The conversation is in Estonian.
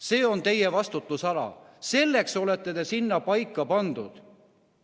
See on teie vastutusala, selleks olete te sinna paika pandud.